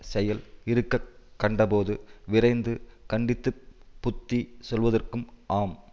செயல் இருக்க கண்டபோது விரைந்து கண்டித்துப் புத்தி சொல்வதற்கும் ஆம்